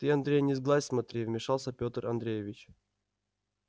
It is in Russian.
ты андрей не сглазь смотри вмешался пётр андреевич